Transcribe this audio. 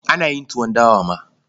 Ana yin tuwon dawa ma.